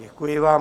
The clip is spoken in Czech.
Děkuji vám.